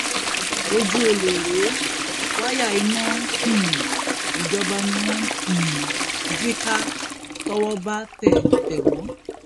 ojú ọlẹ rèé wáyà iná um ìjọba ni wọn ń um jí ká tọwọ bá tẹ tẹ wọn